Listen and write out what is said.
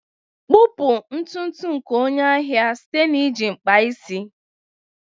kpupu ntutu nke onye ahịa site na iji mkpa isi.